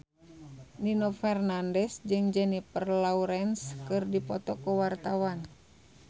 Nino Fernandez jeung Jennifer Lawrence keur dipoto ku wartawan